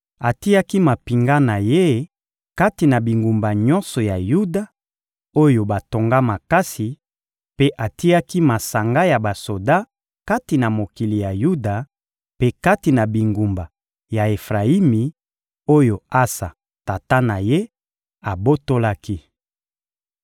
Atiaki mampinga na ye kati na bingumba nyonso ya Yuda, oyo batonga makasi; mpe atiaki masanga ya basoda kati na mokili ya Yuda mpe kati na bingumba ya Efrayimi oyo Asa, tata na ye, abotolaki.